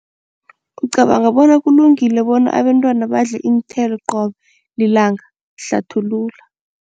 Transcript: Ucabanga bona kulungile bona abantwana badle iinthelo qobe lilanga, hlathulula.